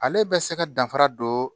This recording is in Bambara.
Ale bɛ se ka danfara don